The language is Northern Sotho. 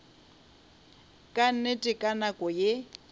ka nnete ka nako ye